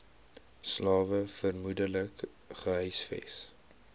slawe vermoedelik gehuisves